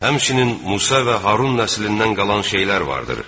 həmçinin Musa və Harun nəslindən qalan şeylər vardır.